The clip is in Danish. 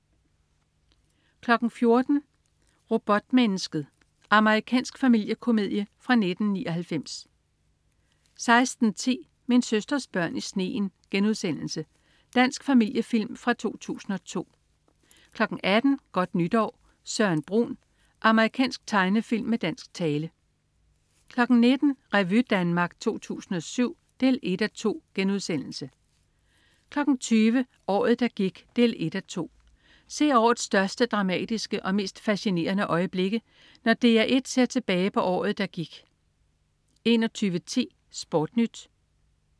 14.00 Robotmennesket. Amerikansk familiekomedie fra 1999 16.10 Min søsters børn i sneen.* Dansk familiefilm fra 2002 18.00 Godt Nytår, Søren Brun. Amerikansk tegnefilm med dansk tale 19.00 Revy Danmark 2007 1:2* 20.00 Året, der gik 1:2. Se årets største, dramatiske og mest fascinerende øjeblikke, når DR1 ser tilbage på året, der gik 21.10 SportNyt